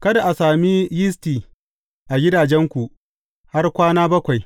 Kada a sami yisti a gidajenku har kwana bakwai.